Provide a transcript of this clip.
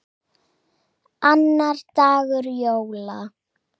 Annar dagur jóla.